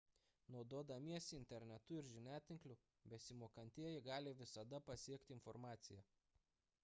naudodamiesi internetu ir žiniatinkliu besimokantieji gali visada pasiekti informaciją